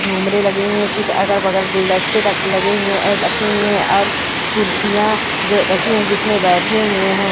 झूमरे लगे हुए कुछ अगल बगल गुलदस्ते लगे हुए रखी हुई है। और कुर्सियां जो रखी है जिसमें बैठे हुए है।